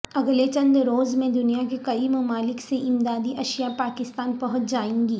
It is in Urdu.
اگلے چند روز میں دنیا کے کئی ممالک سے امدادی اشیاء پاکستان پہنچ جائیں گی